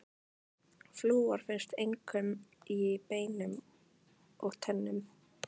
Flúor finnst einkum í beinum og tönnum.